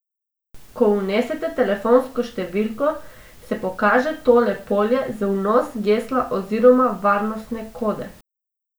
Ko vnesete telefonsko številko, se pokaže tole polje za vnos gesla oziroma varnostne kode.